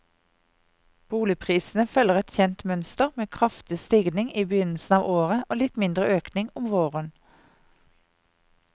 Boligprisene følger et kjent mønster med kraftig stigning i begynnelsen av året og litt mindre økning om våren.